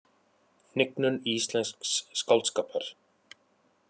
Hnignun íslensks skáldskapar